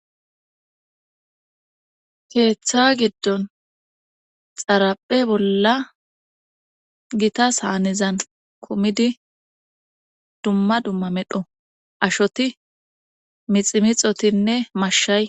keeththa giddon xaraphe bolla gitas haanezan komidi dumma dumma medho ashoti miximixotinne mashshay